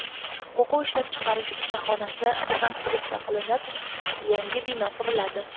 O‘quv ishlab chiqarish ustaxonasi rekonstruksiya qilinib, yangi bino quriladi.